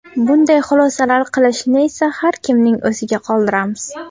Bunday xulosalar qilishni esa har kimning o‘ziga qoldiramiz.